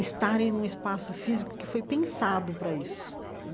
estarem num espaço físico que foi pensado para isso.